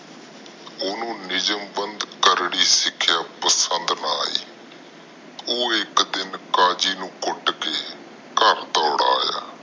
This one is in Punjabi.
ਓਹਨੂੰ ਨਿਊਜਮ ਬੰਦ ਕਾਰਵਾਈ ਸਿਖਿਆ ਓਪਸੰਦ ਨਾ ਈ ਹਿਕ ਦਿਨ ਕਾਜੀ ਨੂੰ ਕੁੱਟ ਕੇ ਘਰ ਦੌੜ ਆਯਾ